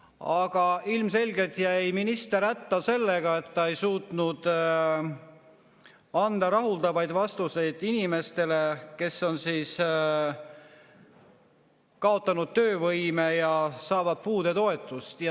Aga ilmselgelt jäi minister hätta sellega, et ta ei suutnud anda rahuldavaid vastuseid inimestele, kes on kaotanud töövõime ja saavad puudetoetust.